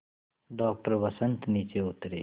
doctor Vasant नीचे उतरे